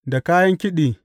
Da kayan kiɗi.